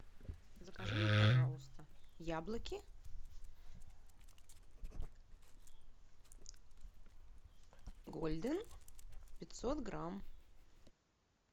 закажи мне пожалуйста яблоки гольден пятьсот грамм